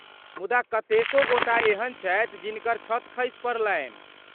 मुदा कतेको गोटा एहन छथि जिनकर छत खसि पड़लनि।